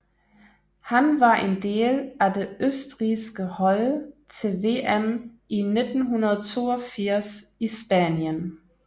Han var en del af det østrigske hold til VM i 1982 i Spanien